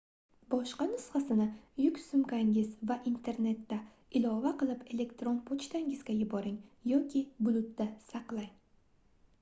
boshqa nusxasini yuk sumkangiz va internetda ilova qilib elektron pochtangizga yuboring yoki bulut"da saqlang